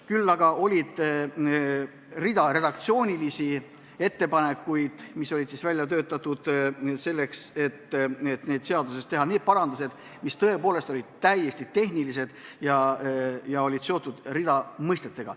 Küll aga oli redaktsioonilisi ettepanekuid, mis olid välja töötatud selleks, et seaduses teha need parandused, mis tõepoolest olid täiesti tehnilised ja seotud mitmete mõistetega.